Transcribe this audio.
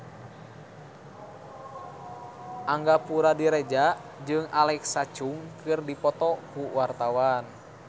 Angga Puradiredja jeung Alexa Chung keur dipoto ku wartawan